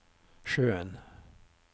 sjøen